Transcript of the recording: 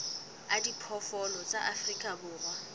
a diphoofolo tsa afrika borwa